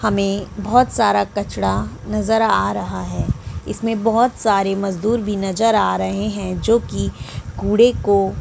हमे बहोत सारा कचड़ा नज़र आ रहा है इसमें बहोत सारे मजदुर भी नज़र आ रहे है जो की कूड़े को--